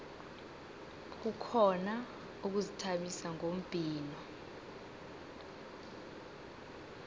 kukhona ukuzithabisa ngombhino